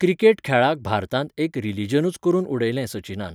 cricket खेळाक भारतांत एक रिलिजनूच करून उडयलें सचिनान